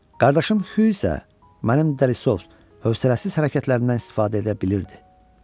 Qardaşım Xyu isə mənim dəlisov, hövsələsiz hərəkətlərimdən istifadə edə bilirdi.